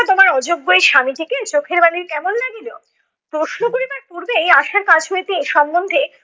তোমার অযোগ্য এই স্বামীটিকে চোখের বালির কেমন লাগিল? প্রশ্ন করিবার পূর্বেই আশার কাছ হইতে এ সম্বন্ধে